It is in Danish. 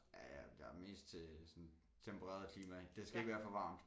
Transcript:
Ja jeg er mest til sådan tempereret klima det skal ikke være for varmt